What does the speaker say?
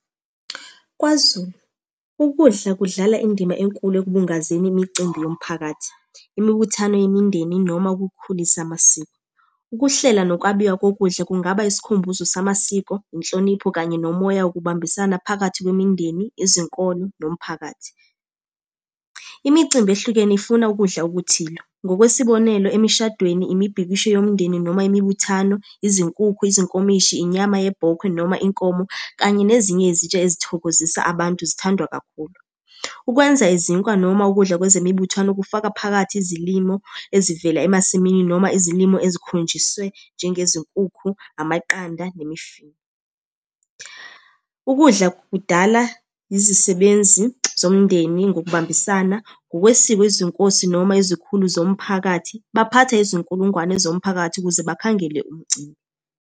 KwaZulu, ukudla kudlala indima enkulu ekubungazeni imicimbi yomphakathi, imibuthano yemindeni, noma ukukhulisa amasiko. Ukuhlela nokwabiwa kokudla kungaba isikhumbuzo samasiko, inhlonipho, kanye nomoya wokubambisana phakathi kwemindeni, ezenkolo, nomphakathi. Imicimbi ehlukene ifuna ukudla okuthile, ngokwesibonelo emishadweni, imibhikisho yomndeni, noma imibuthano, izinkukhu, izinkomishi, inyama ye bhokwe noma inkomo, kanye nezinye izitsha ezithokozisa abantu zithandwa kakhulu. Ukwenza izinkwa noma ukudla kwezemibuthwano kufaka phakathi izilimo ezivela emasimini, noma izilimo ezikhonjiswe njengezinkukhu, amaqanda, nemifino. Ukudla kudala izisebenzi zomndeni ngokubambisana, ngokwesiko izinkosi noma izikhulu zomphakathi. Baphatha izinkulungwane zomphakathi ukuze bakhangele umcimbi.